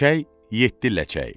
Çiçək yeddi ləçək.